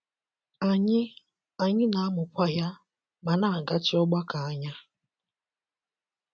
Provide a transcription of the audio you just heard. Anyị Anyị na - amụkwa ya, ma na - agachi ọgbako anya.